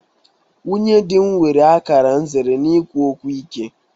Nwunye dị m nwere akara nzere n'ikwu okwu ike.